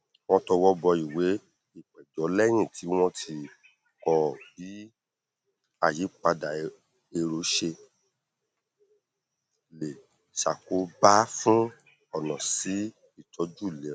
wọn tọwọbọ ìwé ìpẹjọ lẹyìn tí wọn ti kọ bí àyípadà èrò ṣe lè ṣàkóbá fún ọnà sí ìtọjú ìlera